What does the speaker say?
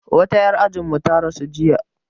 Wata 'yar ajin mu ta rasu jiya